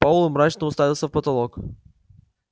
пауэлл мрачно уставился в потолок